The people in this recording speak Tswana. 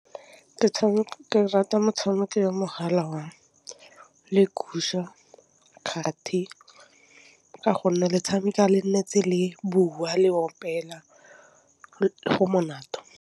Metšhameko ke rata motšhameko wa mogala wa kgati ka gonne le tšhameka le nne tse le bua le opela go monate.